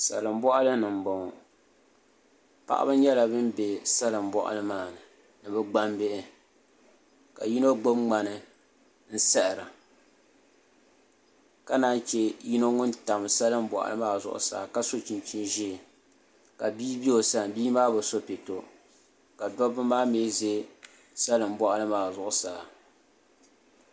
Salin boɣali ni n boŋo paɣaba nyɛla bin bɛ salin boɣali maa ni ni bi gbambihi ka yino gbubi ŋmani n saɣara ka naan chɛ yino ŋun tam salin boɣali maa zuɣusa ka so chinchin ʒiɛ ka bia bɛ o sani bia maa bi so pɛto ka dabba maa mii bɛ salin boɣali maa zuɣusaa